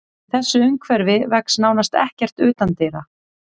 Í þessu umhverfi vex nánast ekkert utandyra.